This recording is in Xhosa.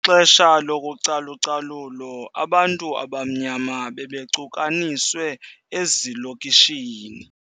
Ngexesha lokucalucalulo abantu abamnyama bebecukaniswe ezilokishini.